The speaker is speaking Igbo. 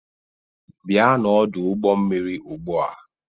Bịa n'ọdụ ụgbọ mmiri ugbu a